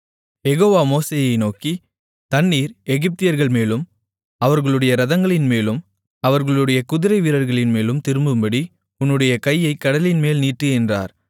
யெகோவா மோசேயை நோக்கி தண்ணீர் எகிப்தியர்கள்மேலும் அவர்களுடைய இரதங்களின்மேலும் அவர்களுடைய குதிரைவீரர்களின்மேலும் திரும்பும்படி உன்னுடைய கையைக் கடலின்மேல் நீட்டு என்றார்